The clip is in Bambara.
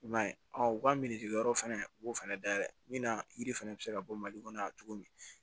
I m'a ye u ka yɔrɔ fɛnɛ u b'o fɛnɛ dayɛlɛ min na yiri fɛnɛ bɛ se ka bɔ mali kɔnɔ yan cogo min